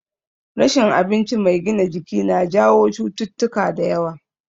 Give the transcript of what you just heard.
Rashin abinci mai gina jiki na jawo cututtuka da yawa